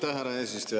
Aitäh, härra eesistuja!